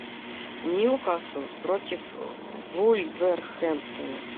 ньюкасл против вулверхэмптона